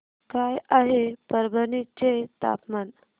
काय आहे परभणी चे तापमान